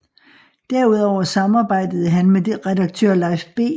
Derudover samarbejdede han med redaktør Leif B